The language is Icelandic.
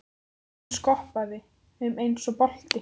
Hún skoppaði um eins og bolti.